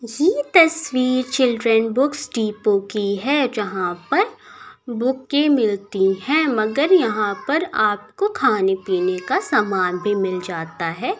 किसी तस्वीर children books depot की है जहाँ पर बुकें मिलती हैं मगर यहाँ पर आपको खाने-पीने का सामान भी मिल जाता है।